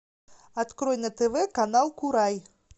открой на тв канал курай